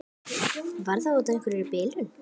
Já í fullkominni andstöðu við herfræði mína.